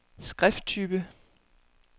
skrifttype